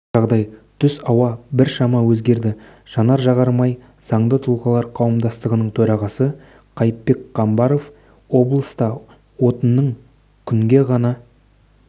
жағдай түс ауа біршама өзгерді жанар-жағармай заңды тұлғалар қауымдастығының төрағасы қайыпбек қамбаров облыста отынның күнге ғана